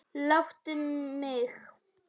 Láttu mig.